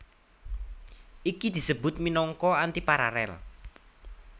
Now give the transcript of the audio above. Iki disebut minangka antiparalel